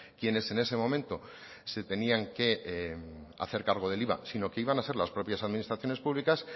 quienes en ese momento se tenían que hacer cargo del iva sino que iban a ser las propias administraciones públicas